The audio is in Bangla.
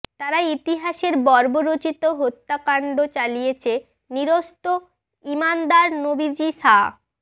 তারা ইতিহাসের বর্বরোচিত হত্যাকাণ্ড চালিয়েছে নিরস্ত্র ঈমানদার নবীজী সা